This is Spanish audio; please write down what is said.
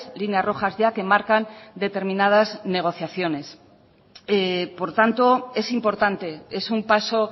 líneas rojas ya que marcan determinadas negociaciones por tanto es importante es un paso